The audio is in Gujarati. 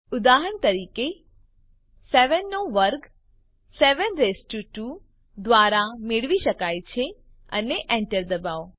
ઉદાહરણ તરીકે 7 નો વર્ગ 7 રેઈસ્ડ ટુ 2 દ્વારા મેળવી શકાય છે અને Enter દબાવો